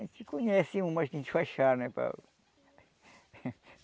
A gente conhece umas que a gente faz chá né para...